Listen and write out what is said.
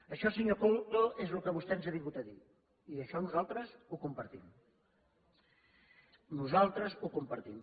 això senyor coto és el que vostè ens ha vingut a dir i això nosaltres ho compartim nosaltres ho compartim